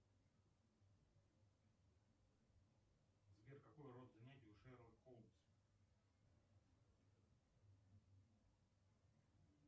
сбер какой род занятий у шерлок холмс